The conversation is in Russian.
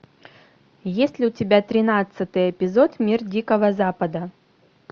есть ли у тебя тринадцатый эпизод мир дикого запада